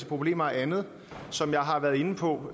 problemer og andet som jeg har været inde på